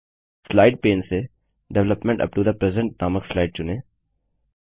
slide pane से development up to the present नामक slide चुनें